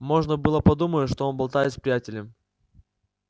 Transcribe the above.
можно было подумать что он болтает с приятелем